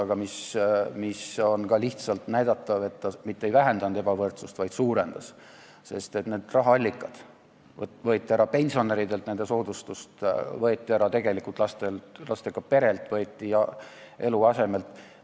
Aga on ka lihtsalt näidatav, et ta mitte ei vähendanud ebavõrdsust, vaid suurendas, sest rahaallikad võeti ära pensionäridelt, soodustus võeti tegelikult ära lastega perelt ja eluaseme omajatelt.